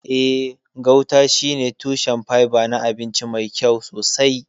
Eh, gauta shine tushen fiber na abinci mai kyau sosai.